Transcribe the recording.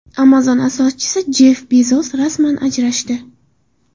Amazon asoschisi Jeff Bezos rasman ajrashdi.